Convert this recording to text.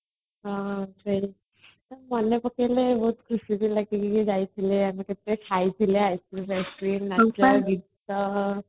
ମନେ ପକେଇଲେ ବହୁତ ଖୁସି ବି ଲାଗେ ଯୋଉ ଯାଇଥିଲେ ଆମେ ସେଠି ଖାଇଥିଲେ ice cream ନାଚ ଗୀତ